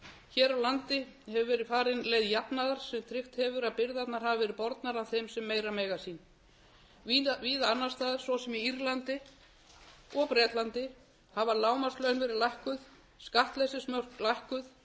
hér á landi hefur verið farin leið jafnaðar sem tryggt hefur að byrðarnar hafa verið bornar af þeim sem meira mega sín víða annars staðar svo sem í írlandi og bretlandi hafa lágmarkslaun verið lækkuð skattleysismörk lækkuð